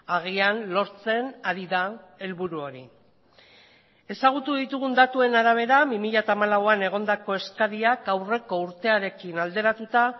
agian lortzen ari da helburu hori ezagutu ditugun datuen arabera bi mila hamalauan egondako eskariak aurreko urtearekin alderatuta